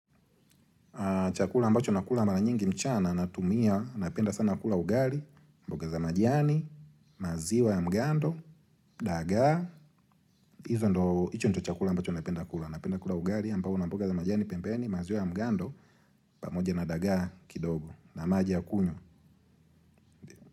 Chakula ambacho nakula mara nyingi mchana, natumia, napenda sana kula ugali, mboga za majani, maziwa ya mgando, dagaa. Hizo ndo, hicho ndo chakula ambacho napenda kula. Napenda kula ugali, ambao na mboga za majani, pembeni, maziwa ya mgando, pamoja na dagaa kidogo. Na maji ya kunywa.